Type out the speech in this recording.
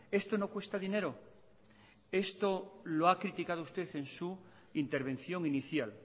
esto no cuesta dinero esto lo ha criticado usted en su intervención inicial